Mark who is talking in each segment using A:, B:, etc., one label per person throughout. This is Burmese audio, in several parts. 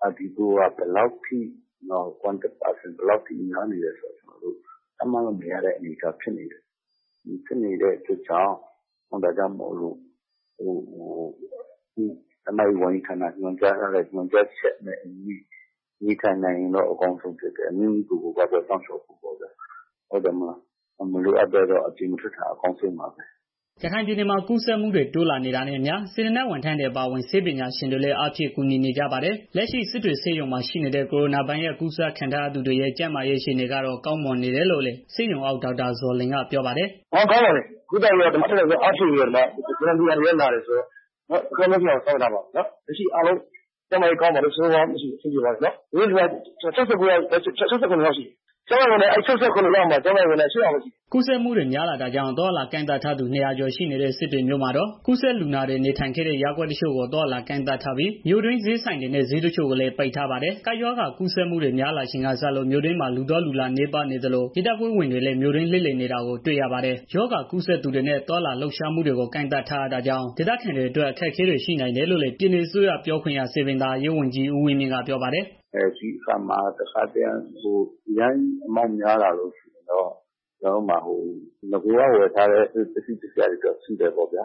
A: နာတွေနဲ့ထိတွေ့ခဲ့သူတွေ contact person တွေဘယ်လောက်များနေတယ်ဆိုတာ ကျနော်တို့ ခန့်မှန်းလို့မရတဲ့ အနေအထားဖြစ်နေတယ်။ အဲတာကြောင့် ကျန်းမာရေး ဝန်ကြီးဌာနက ညွန်ကြားထားတဲ့အတိုင်း နေထိုင်နိုင်ရင်တော့ အကောင်းဆုံးပေါ့နော်။ ပြီးတော့ မိမိကိုယ်ကို ကာကွယ်စောင့်ရှောက်ဖို့ပေါ့နော်။ မလိုအပ်ဘဲတော့ အပြင်မထွက်တာ အကောင်းဆုံးပါပဲ။
B: " ရခိုင်ပြည်နယ်မှာ ရောဂါကူးစက်မှုတွေ တိုးလာနေတာနဲ့အမျှ စေတနာ့ဝန်ထမ်းတွေ အပါအဝင် ဆေးပညာရှင်တွေလည်း အင်အားဖြည့် ကူညီနေကြပါတယ်။ လက်ရှိစစ်တွေဆေးရုံမှာ ရှိနေတဲ့ ကိုရိုနာဗိုင်းရပ်စ်ကူးစက်ခံထားရသူတွေရဲ့ ကျန်းမာရေး အခြေအနေကတော့ ကောင်းမွန်နေတယ်လို့လည်း ဆေးရုံအုပ် ဒေါက်တာဇော်လွင်က ပြောပါတယ်။ "ကုသရေးပိုင်းမ
A: ှာတော့ ကောင်းပါတယ်။ အတတ်နိုင်ဆုံး အားဖြည့်ပြီးတော့ လုပ်ထားပါတယ်။ စေတနာ့ဝန်ထမ်းတွေလည်း လာတယ်ဆိုတော့လေ။ လူနာတွေလည်း ကျန်းမာရေး ကောင်းပါတယ်။ စစ်တွေဆေးရုံမှာ အားလုံး ၆၇ယောက်ရှိတယ်။ အဲဒီထဲမှာ ကျန်းမ
B: ာရေးဝန်ထမ်း ၈ယောက်ပဲရှိတယ်။" ကူးစက်မှုတွေ များလာတာကြောင့် အသွားအလာကန့်သတ်ထားသူ ၂၀၀ ကျော် ရှိနေတဲ့ စစ်တွေမြို့မှာတော့ ကူးစက်လူနာတွေနေထိုင်တဲ့ ရပ်ကွက်တချို့ကို အသွားအလာကန့် သတ်ထားပြီး မြို့တွင်းဈေးဆိုင်တွေနဲ့ ဈေးတချို့ကိုလည်း ပိတ်ထားပါတယ်။ ကပ်ရောဂါ ကူးစက်မှုတွေ များလာချိန်ကစလို့ မြို့တွင်းမှာ လူသွားလူလာနည်းပါးနေသလို ရဲတပ်ဖွဲ့ဝင်တွေ မြို့တွင်းလှည့်လည်နေတာကိုလည်း တွေ့ရပါတယ်။ ရောဂါကူးစက်သူတွေနဲ့ သွားလာလှုပ်ရှားမှုတွေကို ကန့်သတ်ထားရတာကြောင့် ဒေသခံတွေအတွက် အခက်အခဲတွေ ရှိနိုင်တယ်လို့လည်း ပြည်နယ်အစိုးရ ပြောခွင့်ရ စည်ပင်သာယာရေးဝန်ကြီး ဦးဝင်းမြင့်က ပြောပါတယ်။
A: "အရမ်းကြီးလူဦးရေ များလာလို့ရှိရင်တော့ ကျနော်တို့မှာ နဂိုက ဝယ်ထားတဲ့ ပစ္စည်းတွေတော့ ရှိပါတယ် ဒါ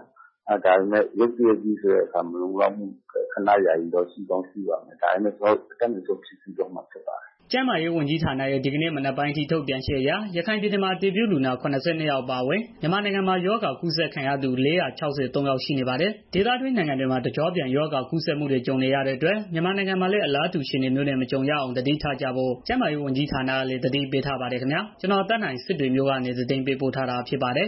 A: ပေမဲ့ ရုတ်တရက်ကြီး ဖြစ်လာတာဆိုတော့ မလုံလောက်မှုတွေလည်း ခဏယာယီတော့ ရှိကောင်းရှိပါတယ်။ ဒါပေမဲ့ ကျနော်တို့ အတတ်နိုင်ဆုံး ဖြည့်ဆည်းသွားမှာ ဖြစ်ပါတယ်။
B: " ကျန်းမာရေး ဝန်ကြီးဌာနရဲ့ ဒီကနေ့ မနက်ပိုင်းအထိ ထုတ်ပြန်ချက်အရ ရခိုင်ပြည်နယ် မှာ အတည်ပြု လူနာ ၇၂ ယောက် အပါအဝင် မြန်မာနိုင်ငံမှာ ရောဂါကူးစက်သူ ၄၆၃ ယောက် ရှိနေပါတယ်။ ဒေသတွင်းနိုင်ငံတွေမှာ တကျော့ပြန် ရောဂါကူးစက်မှုတွေ ကြုံနေရတဲ့အတွက် မြန်မာနိုင်ငံမှာလည်း အလားတူ အခြေအနေမျိုးနဲ့ မကြုံရအောင် သတိထားကြဖို့ ကျန်းမာရေးဝန်ကြီး ဌာနကလည်း သတိပေးထားပါတယ်ခင်ဗျာ။ ကျနော်သက်နိုင် စစ်တွေမြို့ကနေ သတင်းပေးပို့တာ ဖြစ်ပါတယ်